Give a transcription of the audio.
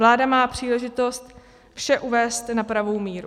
Vláda má příležitost vše uvést na pravou míru.